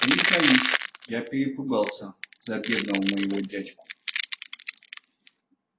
признаюсь я перепугался за бедного моего дядьку